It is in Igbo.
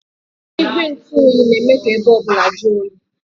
Igwe ntụ oyi dị nro nke ikuku na-eme ka ọnọdụ okpomọkụ dị mma.